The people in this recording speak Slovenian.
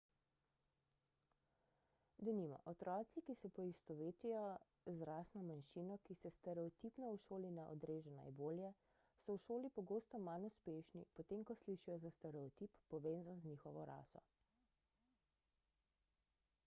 denimo otroci ki se poistovetijo z rasno manjšino ki se stereotipno v šoli ne odreže najbolje so v šoli pogosto manj uspešni potem ko slišijo za stereotip povezan z njihovo raso